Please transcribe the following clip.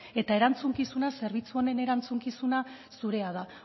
eta zerbitzu honen erantzukizuna zurea da